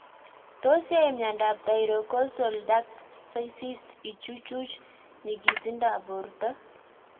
Tos yae miondop thyroglossal duct cysts ichuchuch nyigisindop porto?